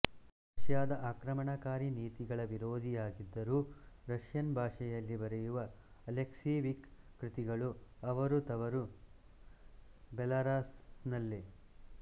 ರಷ್ಯಾದ ಆಕ್ರಮಣಕಾರಿ ನೀತಿಗಳ ವಿರೋಧಯಾಗಿದ್ದರೂ ರಷ್ಯನ್ ಭಾಷೆಯಲ್ಲಿ ಬರೆಯುವ ಅಲೆಕ್ಸೀವಿಕ್ ಕೃತಿಗಳು ಅವರು ತವರು ಬೆಲಾರಾಸ್ನಲ್ಲೇ